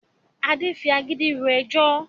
Adé ń fi agídí ro ẹjọ́